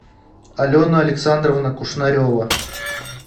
алена александровна кушнарева